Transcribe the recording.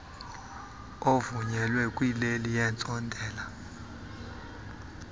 ovunyelwa kwileli yentsontela